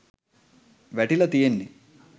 වැටිලා තියෙන්නෙ